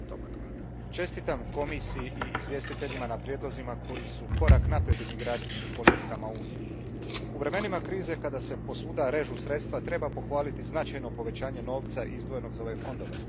Gospodine predsjedniče, čestitam Komisiji i izvjestiteljima na prijedlozima koji su korak naprijed u migracijskim politikama Unije. U vremenima krize kada se posvuda režu sredstva, treba pohvaliti značajno povećanje novca izdvojenog za ove fondove.